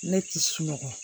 Ne ti sunɔgɔ